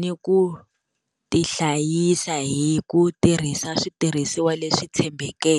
ni ku ti hlayisa hi ku tirhisa switirhisiwa leswi tshembeleke.